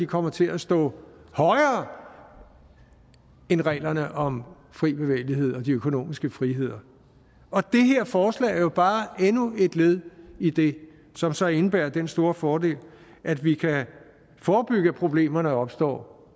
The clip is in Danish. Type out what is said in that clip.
kommer til at stå højere end reglerne om fri bevægelighed og de økonomiske friheder og det her forslag er jo bare endnu et led i det som så indebærer den store fordel at vi kan forebygge at problemerne opstår